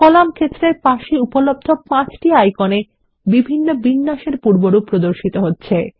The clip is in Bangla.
কলাম ক্ষেত্রের পাশে উপলব্ধ পাঁচটি আইকন এ বিভিন্ন বিন্যাসের পূর্বরূপ প্রদর্শিত হচ্ছে